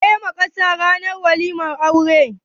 Wa yayi waƙa ranar waliman auran?